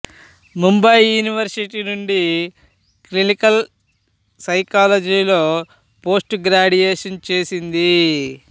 Mumbai university నుండి clinical సైకాలజీలో post graduation చేసింది